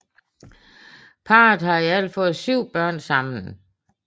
Parret har i alt fået syv børn sammen